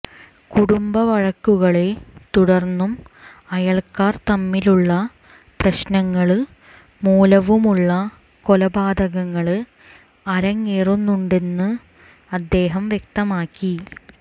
കുടുംബവഴക്കുകളെ തുടർന്നും അയല്ക്കാർ തമ്മിലുള്ള പ്രശ്നങ്ങള് മൂലവുമുള്ള കൊലപാതകങ്ങള് അരങ്ങേറുന്നുണ്ട് എന്നും അദേഹം വ്യക്തമാക്കി